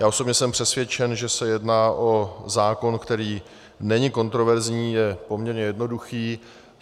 Já osobně jsem přesvědčen, že se jedná o zákon, který není kontroverzní, je poměrně jednoduchý.